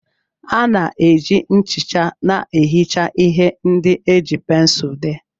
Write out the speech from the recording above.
A na-eji nchicha na-ehicha ihe ndị e ji pensụl dee.